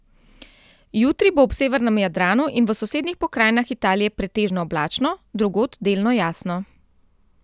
Jutri bo ob severnem Jadranu in v sosednjih pokrajinah Italije pretežno oblačno, drugod delno jasno.